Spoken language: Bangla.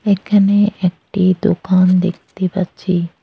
এখানে একটি দোকান দেখতে পাচ্ছি।